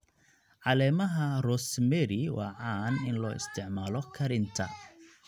Caleemaha rosemary waa caan in loo isticmaalo karinta.